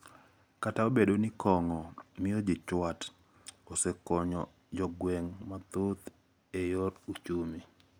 kata obedo ni kong`o miyo ji chwat, osekonyo jogweng` mathoth e yor uchumi.